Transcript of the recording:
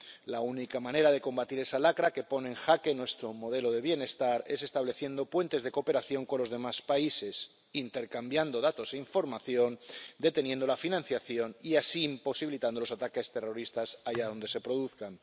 La única manera de combatir esa lacra que pone en jaque nuestro modelo de bienestar es estableciendo puentes de cooperación con los demás países, intercambiando datos e información, deteniendo la financiación y así imposibilitando los ataques terroristas allá donde se produzcan.